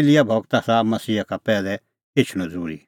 एलियाह गूरो आसा मसीहा का पैहलै एछणअ ज़रूरी